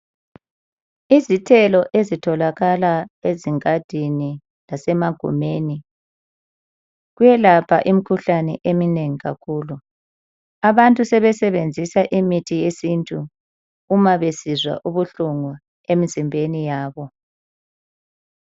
Izithelo ezitholakala ezingadini lasemagumeni kuyelapha imikhuhlane eminengi kakhulu. Abantu sebesebenzisa imithi yesintu uma besizwa ubuhlungu emizimbeni yabo.